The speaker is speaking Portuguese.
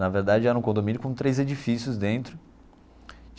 Na verdade era um condomínio com três edifícios dentro.